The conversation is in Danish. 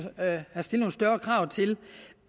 have stillet nogle større krav til